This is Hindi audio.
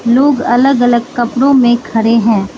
लोग अलग अलग कपड़ों में खड़े हैं।